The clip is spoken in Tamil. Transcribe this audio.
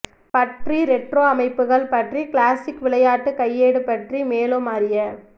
பற்றி ரெட்ரோ அமைப்புகள் பற்றி கிளாசிக் விளையாட்டு கையேடு பற்றி மேலும் அறிய